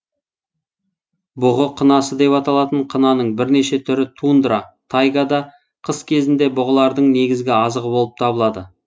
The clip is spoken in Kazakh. бұғы қынасы деп аталатын қынаның бірнеше түрі тундра тайгада қыс кезінде бұғылардың негізгі азығы болып табылады